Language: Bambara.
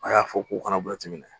A y'a fɔ k'u kana waati minɛ